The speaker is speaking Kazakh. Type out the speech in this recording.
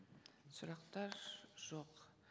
сұрақтар жоқ